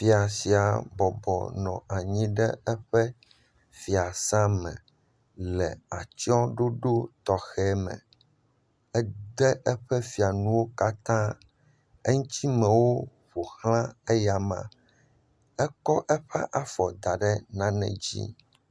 Fia sia bɔbɔ nɔ anyi ɖe eƒe fiasa me le atsyɔɖoɖo tɔxɛ me edo eƒe fianuwo katã eŋtimewo ƒoxla eyama ekɔ eƒe afɔ daɖe nane dzi